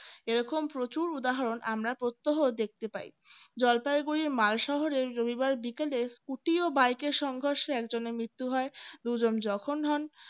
এরকম প্রচুর উদাহরণ আমরা প্রত্যহ দেখতে পাই জলপাইগুড়ির মাল শহরে রবিবার বিকেলের scooty ও byke এর সংঘর্ষে একজনের মৃত্যু হয় দুজন যখন হন